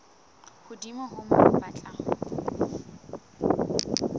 hodimo ho moo ba tla